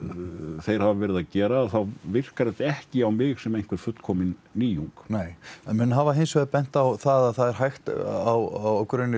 þeir hafa verið að gera þá virkar þetta ekki á mig sem einhver fullkomin nýjung nei en menn hafa hins vegar bent á það á grunni